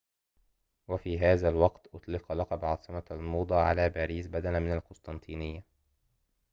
وفي هذا الوقت أُطلق لقب عاصمة الموضة على باريس بدلا من القسطنطينية